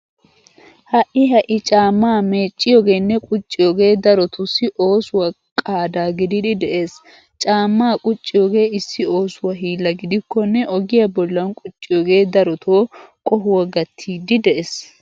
Ha"i ha"i caammaa meecciyogeenne qucciyogee darotussi oosuwa qaada gidiiddi de'ees. Caammaa qucciyogee issi oosuwa hiilla gidikkonne ogiya bollan qucciyogee darotoo qohuwa gattiiddi de'ees.